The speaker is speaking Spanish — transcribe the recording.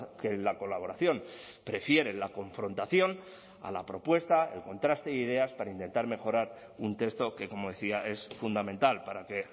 que en la colaboración prefieren la confrontación a la propuesta el contraste de ideas para intentar mejorar un texto que como decía es fundamental para que